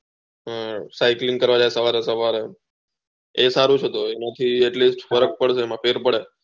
cycling કરવા જાય સવારે સવારે એ સારું છે તો એના થી એટલું ફર્ક પડે પેટ